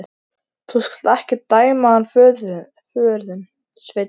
Þú skalt ekki dæma hann föður þinn, Sveinn minn.